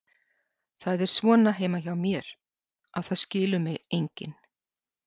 Það er svona heima hjá mér, að það skilur mig enginn.